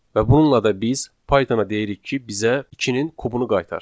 Və bununla da biz Pythona deyirik ki, bizə ikinin kubunu qaytar.